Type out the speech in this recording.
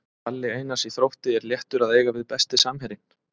Palli Einars í Þrótti er léttur að eiga við Besti samherjinn?